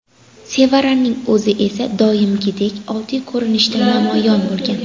Sevaraning o‘zi esa doimgidek oddiy ko‘rinishda namoyon bo‘lgan.